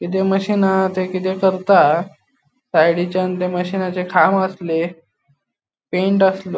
मशीन हो ते किते करता सायडीचान ते मशीनाचे खाम आसले पेंट आस्लो.